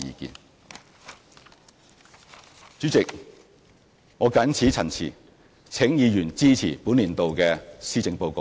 代理主席，我謹此陳辭，請議員支持本年度的施政報告。